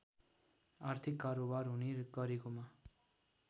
आर्थिक कारोवार हुने गरेकोमा